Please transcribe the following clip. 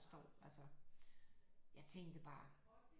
Forstår altså jeg tænkte bare